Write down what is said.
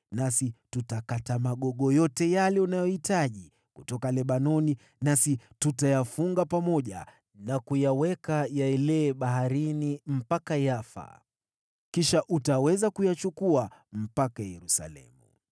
nasi tutakata magogo yote yale unayohitaji kutoka Lebanoni nasi tutayafunga pamoja na kuyaweka yaelee baharini mpaka Yafa. Kisha utaweza kuyachukua mpaka Yerusalemu.”